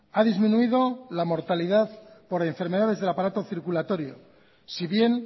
ha disminuido la mortalidad por enfermedades del aparato circulatorio si bien